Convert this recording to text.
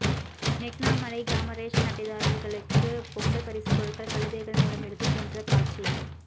நெக்னாமலை கிராம ரேஷன் அட்டைதாரர்களுக்கு பொங்கல் பரிசு பொருட்கள் கழுதைகள் மூலம் எடுத்து சென்ற காட்சி